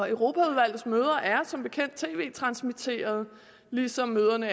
europaudvalgets møder er som bekendt tv transmitteret ligesom møderne